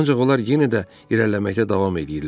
Ancaq onlar yenə də irəliləməkdə davam eləyirlər.